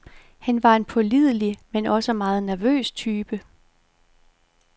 Han var en pålidelig, men også meget nervøs type.